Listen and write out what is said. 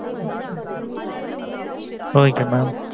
ok mam